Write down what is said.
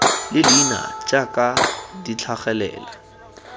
le leina jaaka di tlhagelela